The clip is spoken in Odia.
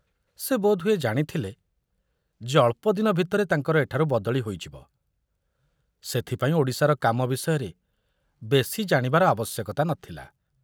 ସେ ବୋଧହୁଏ ଜାଣିଥିଲେ ଯେ ଅଳ୍ପଦିନ ଭିତରେ ତାଙ୍କର ଏଠାରୁ ବଦଳି ହୋଇଯିବ, ସେଥିପାଇଁ ଓଡ଼ିଶାର କାମ ବିଷୟରେ ବେଶି ଜାଣିବାର ଆବଶ୍ୟକତା ନଥିଲା।